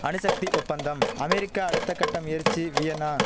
அணுசக்தி ஒப்பந்தம் அமெரிக்கா அடுத்தகட்ட முயற்சி வியன்னா